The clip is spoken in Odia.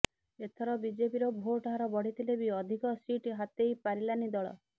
ଏଥର ବିଜେପିର ଭୋଟ୍ ହାର ବଢ଼ିଥିଲେ ବି ଅଧିକ ସିଟ୍ ହାତେଇ ପାରିଲାନି ଦଳ